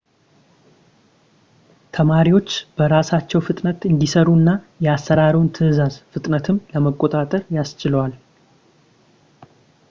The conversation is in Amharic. ተማሪዎች በራሳቸው ፍጥነት እንዲሰሩ እና የአሰራሩን ትዕዛዝ ፍጥነትም ለመቆጣጠር ያስችላቸዋል